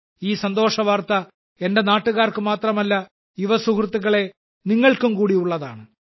ഈ സന്തോഷവാർത്ത എന്റെ നാട്ടുകാർക്ക് മാത്രമല്ല യുവസുഹൃത്തുക്കളേ നിങ്ങൾക്കും കൂടി ഉള്ളതാണ്